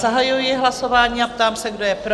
Zahajuji hlasování a ptám se, kdo je pro?